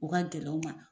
U ka gɛlɛn u ma